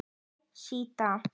Hæ Stína